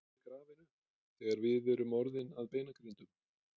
Verðum við grafin upp þegar við erum orðin að beinagrindum?